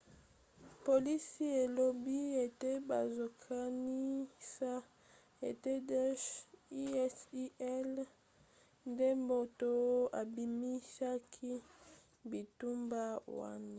polisi elobi ete bazokanisa ete daesh isil nde moto abimisaki bitumba wana